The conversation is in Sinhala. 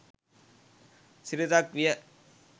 සිරිතක් විය.